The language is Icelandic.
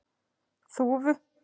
Þúfu